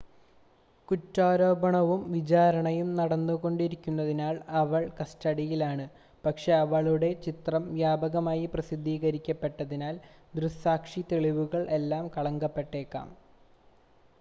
കുറ്റാരോപണവും വിചാരണയും നടന്നുകൊണ്ടിരിക്കുന്നതിനാൽ അവൾ കസ്റ്റഡിയിൽ ആണ് പക്ഷേ അവളുടെ ചിത്രം വ്യാപകമായി പ്രസിദ്ധീകരിക്കപ്പെട്ടതിനാൽ ദൃക്‌സാക്ഷി തെളിവുകൾ എല്ലാം കളങ്കപ്പെട്ടേക്കാം